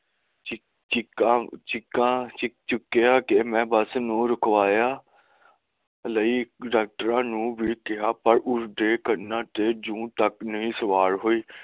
ਚੀਕਾਂ ਚੀਕਿਆ ਕੇ ਮੈਂ ਬੱਸ ਨੂੰ ਰੁਕਵਾਇਆ ਤੇ ਮੈਂ ਡਾਕਟਰਾਂ ਨੂੰ ਵੀ ਕਿਹਾ ਪਰ ਉਸਦੇ ਕੰਨਾਂ ਤੇ ਜੂੰ ਤੱਕ ਨਹੀਂ ਸਵਾਰ ਹੋਈ